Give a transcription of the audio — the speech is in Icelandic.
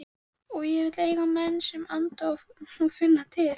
Og ég vil eiga menn sem anda og finna til.